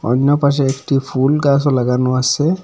অইন্য পাশে একটি ফুল গাসও লাগানো আসে ।